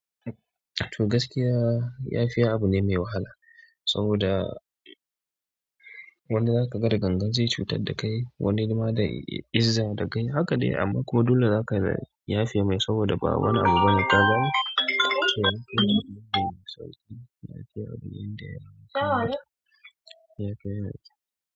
To gaskiya, yafiya abu ne mai wahala saboda wani zaka ga da gangan zai cutar da kai, wani ma da izza da gaiyya, haka dai amma kuma dole zaka yafe mai saboda ba wani abu bane ka gane.